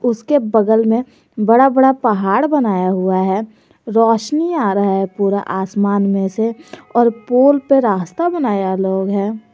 उसके बगल में बड़ा बड़ा पहाड़ बनाया हुआ है रोशनी आ रहा है पूरा आसमान में से और पुल पर रास्ता बनाया लोग है।